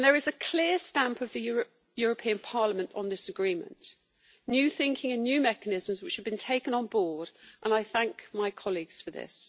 There is a clear stamp of the European Parliament on this agreement new thinking and new mechanisms which have been taken on board and I thank my colleagues for this.